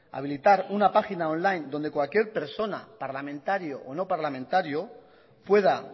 habilitar una página on line donde cualquier persona parlamentario o no parlamentario pueda